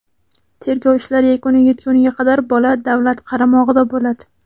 Tergov ishlari yakuniga yetgunga qadar bola davlat qaramog‘ida bo‘ladi.